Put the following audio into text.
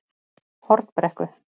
Hornbrekku